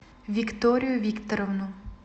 викторию викторовну